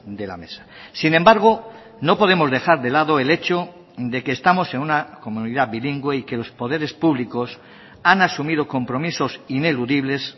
de la mesa sin embargo no podemos dejar de lado el hecho de que estamos en una comunidad bilingüe y que los poderes públicos han asumido compromisos ineludibles